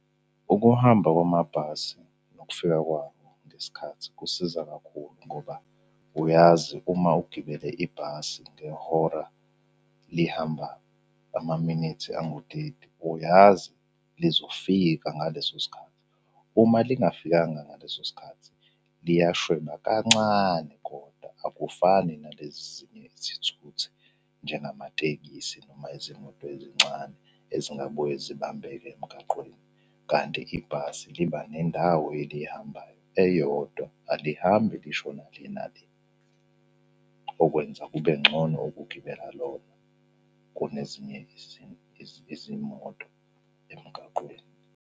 Ukuhamba kwamabhasi nokufika kwawo ngesikhathi kusiza kakhulu ngoba uyazi uma ugibele ibhasi ngehora lihamba amaminithi anguteti uyazi lizofika ngaleso sikhathi. Uma lingafikanga ngaleso sikhathi liyashweba kancane, koda akufani nalezi ezinye izithuthu njengamatekisi noma izimoto ezincane ezingabuye zibambeke emgaqweni. Kanti ibhasi liba nendawo elihambayo eyodwa, alihambi lishona le nale. Okwenza kube ngcono ukugibela lona kunezinye izimoto emgaqweni.